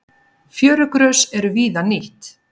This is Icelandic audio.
Fjörugrös eru víða nýtt.